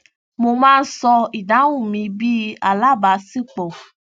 mo má ń ṣọ ìdáhùn mi bí alábaṣípọ